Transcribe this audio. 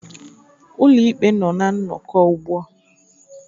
Ụlọikpe nọ na nnọkọ ugbu a